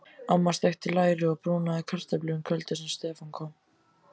Amma steikti læri og brúnaði kartöflur kvöldið sem Stefán kom.